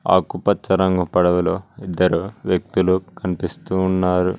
ఆకుపచ్చ రంగు పడవ లో ఇద్దరు వ్యక్తులు కనిపిస్తూ ఉన్నారు.